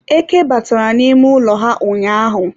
eke batara n'ime ụlọ ha ụnyaahụ